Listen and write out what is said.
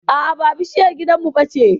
a'a ba bishiyar gidan mu bace